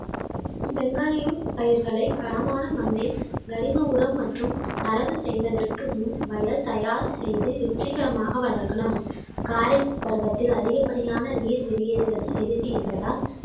வெங்காயம் பயிர்களை களமான மண்ணில் கரிம உரம் மற்றும் நடவு செய்வதற்கு முன் வயல் தயார் செய்து வெற்றிகரமாக வளர்க்கலாம் காரை பருவத்தில் அதிகப்படியான நீர் வெளியேறுவது எளிது என்பதால்